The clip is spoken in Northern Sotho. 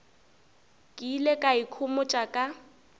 ke ile ka ikhomotša ka